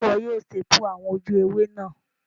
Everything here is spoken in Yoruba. Sé wo yio staple àwon ojú ewé náà